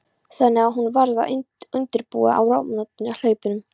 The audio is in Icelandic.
Þannig að hún varð að undirbúa áramótin á hlaupum.